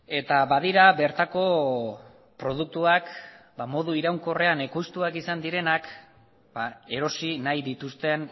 eta badira bertako produktuak modu iraunkorrean ekoiztuak izan direnak erosi nahi dituzten